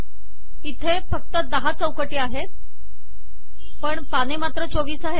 इथे फक्त १० चौकटी आहेत पण पाने मात्र २४ आहेत